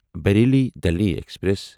Bareilly Delhi express